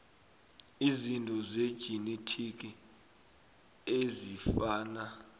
izinto zejinethiki ezifana